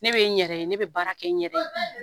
Ne bɛ n yɛrɛ ye ne bɛ baara kɛ n yɛrɛ ye